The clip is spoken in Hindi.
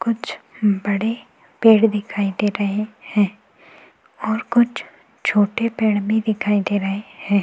कुछ बड़े पेड़ दिखाई दे रहे हैं और कुछ छोटे पेड़ भी दिखाई दे रहे हैं।